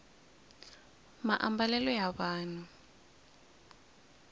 maambalelo ya vanhu